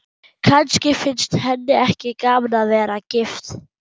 Kannski finnst henni ekki gaman að vera gift.